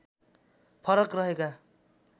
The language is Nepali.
फरक रहेका